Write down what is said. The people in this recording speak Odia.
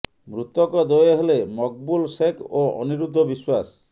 ମୃତକ ଦ୍ବୟ ହେଲେ ମକବୁଲ ଶେଖ୍ ଓ ଅନିରୁଦ୍ଧ ବିଶ୍ବାସ